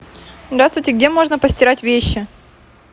здравствуйте где можно постирать вещи